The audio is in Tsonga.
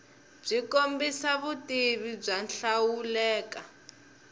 byi kombisa vutivi byo hlawuleka